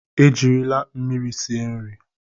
Ejirila mmiri sie nri.